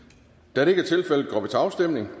da det ikke